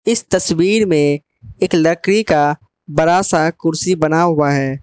इस तस्वीर में एक लकड़ी का बड़ा सा कुर्सी बना हुआ है।